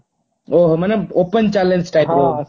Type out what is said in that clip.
ଓଃ ହୋ ମାନେ open challenge type ର